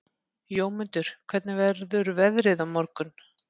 Jómundur, hvernig verður veðrið á morgun?